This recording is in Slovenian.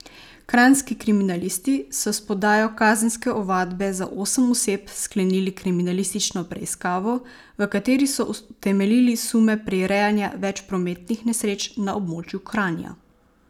Kranjski kriminalisti so s podajo kazenske ovadbe za osem oseb sklenili kriminalistično preiskavo, v kateri so utemeljili sume prirejanja več prometnih nesreč na območju Kranja.